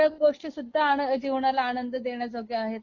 तेव्हडयाच गोष्टी जीवनाला आनंद देण्याजोग्या आहेत